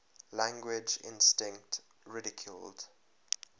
language instinct ridiculed